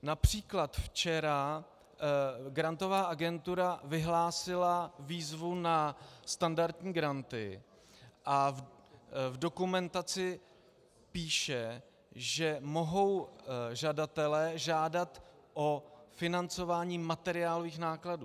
Například včera Grantová agentura vyhlásila výzvu na standardní granty a v dokumentaci píše, že mohou žadatelé žádat o financování materiálových nákladů.